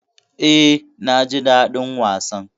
E, naji daɗin wasan.